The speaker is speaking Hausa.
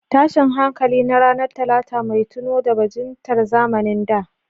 Tashin hankali na ranar Talata, mai tuno da bajintar zamanin da.